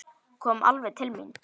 Kom alveg til mín.